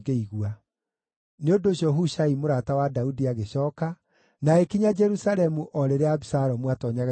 Nĩ ũndũ ũcio Hushai mũrata wa Daudi agĩcooka, na agĩkinya Jerusalemu o rĩrĩa Abisalomu aatoonyaga itũũra rĩu inene.